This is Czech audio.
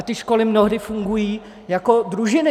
A ty školy mnohdy fungují jako družiny.